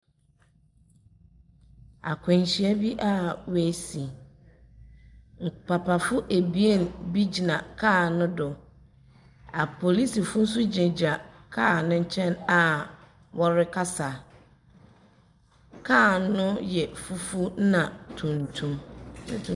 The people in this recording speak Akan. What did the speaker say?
Akwanhyia bi a ɔasi. Papafo abien bi gyina car no do. Apolisifo nso gyinagyina car no nkyɛn a wɔrekasa. Car no yɛ fufuw na tuntum.